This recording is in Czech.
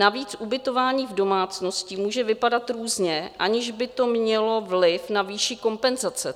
Navíc ubytování v domácnosti může vypadat různě, aniž by to mělo vliv na výši kompenzace.